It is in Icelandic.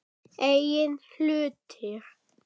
Eigin hlutir.